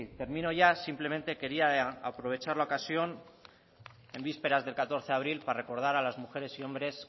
término ya simplemente quería aprovechar la ocasión en vísperas del catorce de abril para recordar a las mujeres y hombres